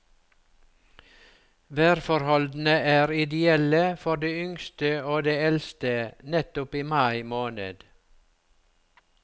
Værforholdene er ideelle for de yngste og de eldste nettopp i mai måned.